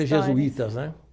Jesuítas, né?